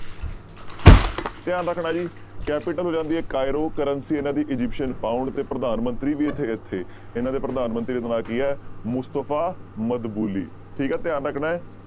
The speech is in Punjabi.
ਧਿਆਨ ਰੱਖਣਾ ਜੀ capital ਹੋ ਜਾਂਦੀ ਹੈ ਕਾਈਰੋ currency ਇਹਨਾਂ ਦੀ ਅਜਿਪਸਨ ਪਾਊਂਡ ਤੇ ਪ੍ਰਧਾਨ ਮੰਤਰੀ ਵੀ ਇੱਥੇ ਇੱਥੇ ਇਹਨਾਂ ਦੇ ਪ੍ਰਧਾਨ ਮੰਤਰੀ ਦਾ ਨਾਮ ਕੀ ਹੈ ਮੁਸਤਫ਼ਾ ਮਦਬੁਲੀ, ਠੀਕ ਹੈ ਧਿਆਨ ਰੱਖਣਾ ਹੈ।